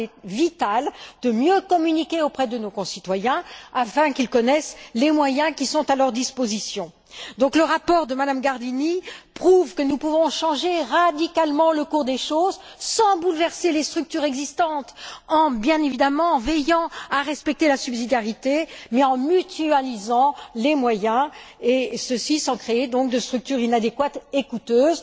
Il est vital de mieux communiquer auprès de nos concitoyens afin qu'ils connaissent les moyens qui sont à leur disposition. Donc, le rapport de Mme Gardini prouve que nous pouvons changer radicalement le cours des choses sans bouleverser les structures existantes, en veillant bien entendu à respecter la subsidiarité, mais en mutualisant les moyens, et ceci, sans créer de structures inadéquates et coûteuses.